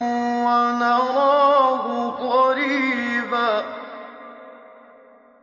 وَنَرَاهُ قَرِيبًا